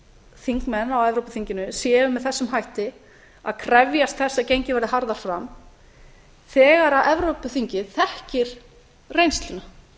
þingmenn á evrópuþinginu séu með þessum hætti að krefjast þess að gengið verði harðar fram þegar evrópuþingið þekkir reynsluna